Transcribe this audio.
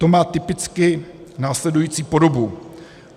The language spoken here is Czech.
To má typicky následující podobu: